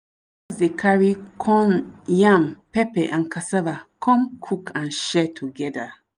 dey carry corn yam pepper and cassava come cook and share togeda.